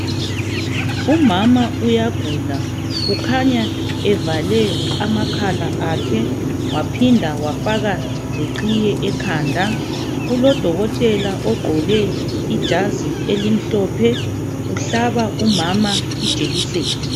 Umama uyagula. Ukhanya evale amakhala akhe waphinda wafaka leqhiye ekhanda. Kulodokotela ogqoke ijazi elimhlophe, uhlaba umama ijekiseni.